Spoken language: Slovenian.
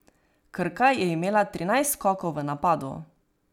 Krka je imela trinajst skokov v napadu.